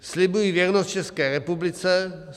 "Slibuji věrnost České republice.